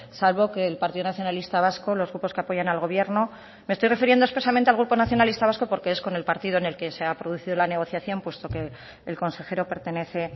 salvo que el partido nacionalista vasco los grupos que apoyan al gobierno me estoy refiriendo expresamente al grupo nacionalista vasco porque es el partido con el que se ha producido la negociación puesto que el consejero pertenece